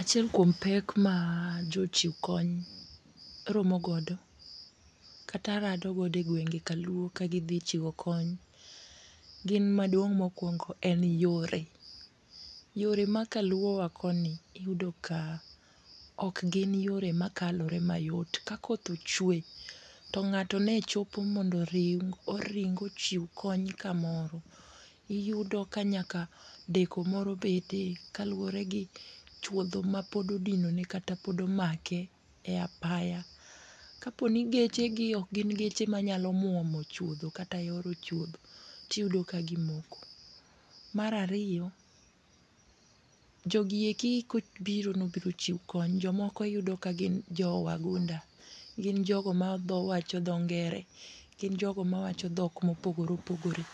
Achiel kuom pek ma jochiw kony romo godo kata rado godo e gwenge kaluo ka gidhi chiwo kony., gin maduong' mokuongo en yore. Yore makaluowa koni iyudo ka ok gin yore makalore mayot. Ka koth ochwe to ng'ato ne ringo mondo chiw kony kamoro, iyudo ka nyaka deko moro bedie kaluwore gi chuodho mapod odinone kata pod omake e apaya. Kaponi ni geche gi ok gin geche manyalo muomo chuodho kata yoro chuodho to iyudo ka gimoko. Mar ariyo, jogieki kobiro ni mondo ochiw kony, jomoko yudo kagin jowagunda. Gin jogo mawacho dho ngere, gin jogo mawacho dhok moogore opogore.